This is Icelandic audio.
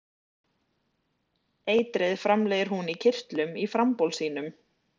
Eitrið framleiðir hún í kirtlum í frambol sínum.